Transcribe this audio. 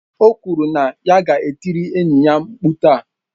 O kwuru na ya ga-etirịrị enyi ya mkpu taa.